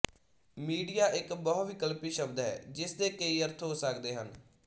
media ਇੱਕ ਬਹੁ ਵਿਕਲਪੀ ਸ਼ਬਦ ਹੈ ਜਿਸ ਦੇ ਕਈ ਅਰਥ ਹੋ ਸਕਦੇ ਹਨ